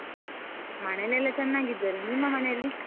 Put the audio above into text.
ಮನೇಲೆಲ್ಲ ಚನ್ನಾಗಿದ್ದಾರೆ, ನಿಮ್ಮ ಮನೆಯಲ್ಲಿ?